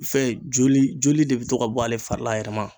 Fɛn joli ,joli de be to ka bɔ ale fari la a yɛrɛ ma.